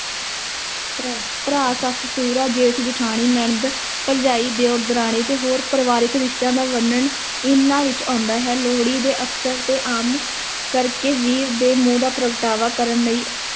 ਭਰਾ, ਭਰਾ, ਸੱਸ-ਸਹੁਰਾ, ਜੇਠ-ਜਠਾਣੀ, ਨਣਦ ਭਰਜਾਈ, ਦਿਓਰ, ਦਰਾਣੀ ਅਤੇ ਹੋਰ ਪਰਿਵਾਰਿਕ ਰਿਸ਼ਤਿਆਂ ਦਾ ਵਰਨਣ ਇਹਨਾਂ ਵਿੱਚ ਆਉਂਦਾ ਹੈ, ਲੋਹੜੀ ਦੇ ਅਵਸਰ ਤੇ ਆਮ ਕਰ ਕੇ ਵੀਰ ਦੇ ਮੋਹ ਦਾ ਪ੍ਰਗਟਾਵਾ ਕਰਨ ਲਈ